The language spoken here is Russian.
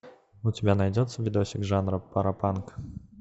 у тебя найдется видосик жанра паропанк